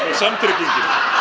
og samtryggingin